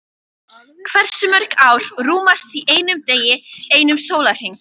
Hversu mörg ár rúmast í einum degi, einum sólarhring?